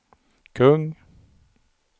kung